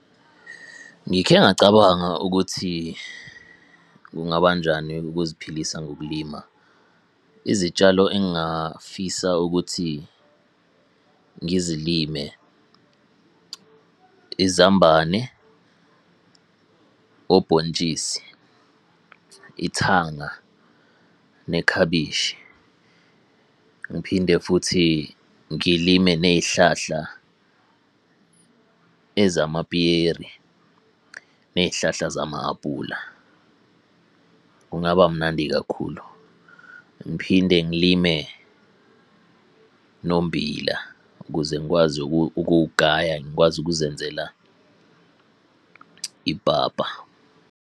Ngikhe ngacabanga ukuthi kungabanjani ukuziphilisa ngokulima, izitshalo engafisa ukuthi ngizilime, izambane, obhontshisi, ithanga nekhabishi. Ngiphinde futhi ngilime ney'hlahla, ezamapiyeri ney'hlahla zama-apula. Kungaba mnandi kakhulu, ngiphinde ngilime nommbila ukuze ngikwazi ukugaya ngikwazi ukuzenzela ipapa.